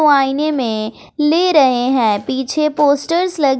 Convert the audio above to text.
वो आईने में ले रहे हैं पीछे पोस्टर्स ल--